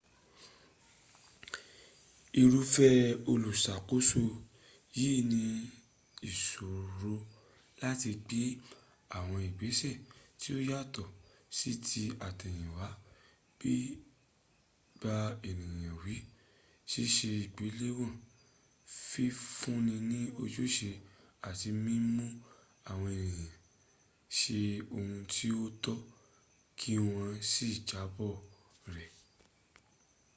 irúfẹ́ olùṣàkóso yìí ni ìṣòro láti gbé àwọn ìgbéṣẹ tí ó yàtò sí ti àtẹ̀yìnwá bí bà ẹnìyàn wí ṣíṣe ìgbéléwọ̀n fífunni ní ojúṣe àti mímú àwọn ẹnìyàn ṣe ohun tí ó tọ́ kí wọ́n sì jábọ̀ rẹ̀